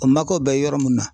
O mako bɛ yɔrɔ mun na.